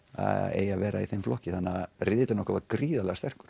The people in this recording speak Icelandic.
eigi að vera í þeim flokki þannig að riðillinn okkar var gríðarlega sterkur